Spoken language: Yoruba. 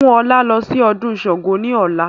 Mú ọlá lọ sí ọdún Sángo ni ọ̀la!